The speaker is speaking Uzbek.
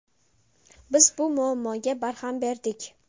Biz bu muammoga barham berdik.